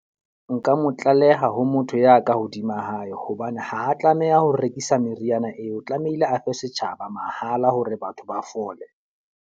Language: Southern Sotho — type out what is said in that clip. Nka mo tlaleha ho motho ya ka hodima hae. Hobane ha a tlameha ho rekisa meriana eo, tlamehile a fe setjhaba mahala hore batho ba fole.